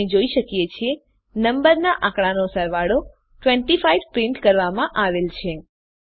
આપણે જોઈ શકીએ છીએ નંબરના આંકડાનો સરવાળો 25 પ્રિન્ટ કરવામાં આવેલ છે